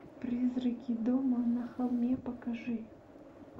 призраки дома на холме покажи